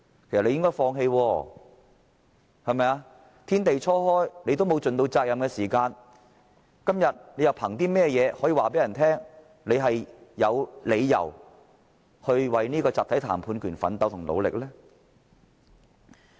因為天地初開時他們根本沒有盡責任，今天又憑甚麼告訴人他們有理由為集體談判權奮鬥和努力呢？